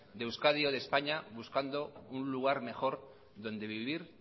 de euskadi o de españa buscando un lugar mejor donde vivir